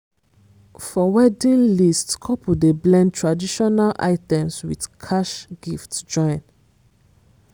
for wedding list couple dey blend traditional items with cash gifts join.